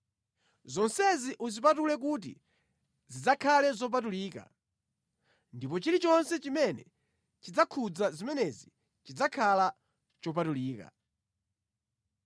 Zonsezi uzipatule kuti zidzakhale zopatulika, ndipo chilichonse chimene chidzakhudza zimenezi chidzakhala chopatulika.